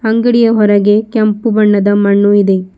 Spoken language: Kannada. ಅಂಗಡಿಯ ಹೊರಗೆ ಕೆಂಪು ಬಣ್ಣದ ಮಣ್ಣು ಇದೆ.